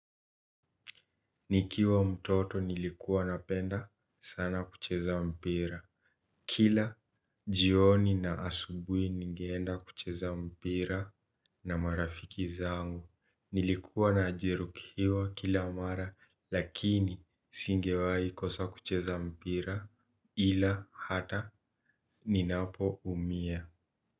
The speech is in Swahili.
Nikiwa mtoto nilikuwa napenda sana kucheza mpira. Kila jioni na asubui ningenda kucheza mpira na marafiki zangu. Nilikuwa na ajirukiwa kila amara lakini singewai kosa kucheza mpira ila hata ninapo umia.